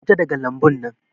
Ka fita daga lambun nan